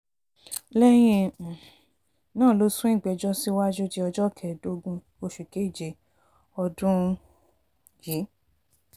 lẹ́yìn um náà ló sún ìgbẹ́jọ́ síwájú di ọjọ́ kẹẹ̀ẹ́dógún oṣù keje ọdún um yìí